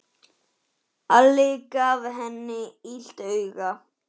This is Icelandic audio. Alli gaf henni illt auga.